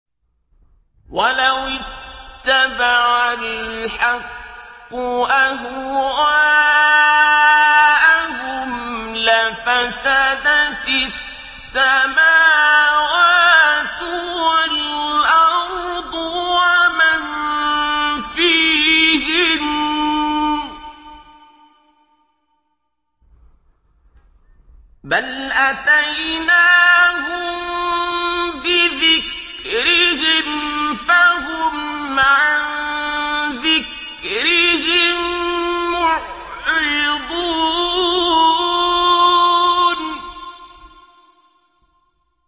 وَلَوِ اتَّبَعَ الْحَقُّ أَهْوَاءَهُمْ لَفَسَدَتِ السَّمَاوَاتُ وَالْأَرْضُ وَمَن فِيهِنَّ ۚ بَلْ أَتَيْنَاهُم بِذِكْرِهِمْ فَهُمْ عَن ذِكْرِهِم مُّعْرِضُونَ